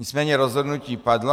Nicméně rozhodnutí padlo.